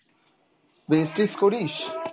Vestige করিস?